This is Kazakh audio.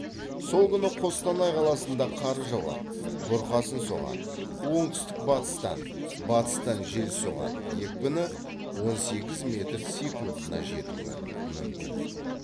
сол күні қостанай қаласында қар жауады бұрқасын соғады оңтүстік батыстан батыстан жел соғады екпіні он сегіз метр секундына жетуі мүмкін